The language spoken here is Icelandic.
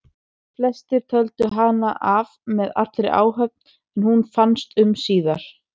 Flestir töldu hana af með allri áhöfn en hún fannst um síðir.